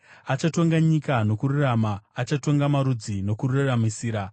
Achatonga nyika nokururama; achatonga marudzi nokururamisira.